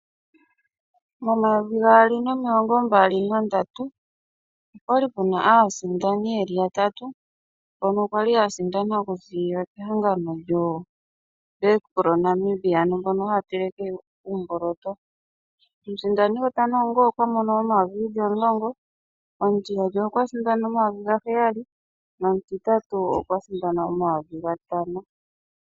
Mo 2023, opwa li puna aasindani yeli yatatu , mbono kwali yasindana okuziilila mehangano lyoBakpro Namibia ano mbono haya teleke uimboloto. Omusindani gwotango okwa pewa N$10000, omutiyali okwasindana N$7000 noshowoo omutitati okwa li asindana N$5000.